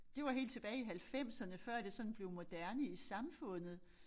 Det var helt tilbage i halvfemserne før det sådan blev moderne i samfundet